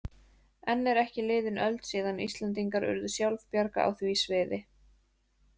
Enn er ekki liðin öld síðan Íslendingar urðu sjálfbjarga á því sviði.